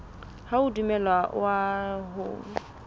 ha o a dumellwa ho